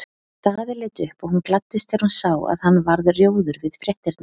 Daði leit upp og hún gladdist þegar hún sá að hann varð rjóður við fréttirnar.